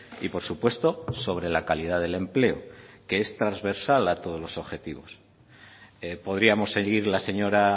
y por supuesto sobre la calidad del empleo que es transversal a todos los objetivos podríamos seguir la señora